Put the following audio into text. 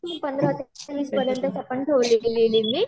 हो काही नाही पंधर ते वीस पर्यान्तच आपण ठेवलेली आहे लिमिट